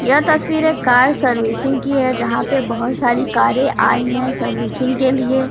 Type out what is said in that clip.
यह तस्वीर एक कार सर्विसिंग की है जहाँ पे बहोत सारी कारें आयी हैं सर्विसिंग के लिए।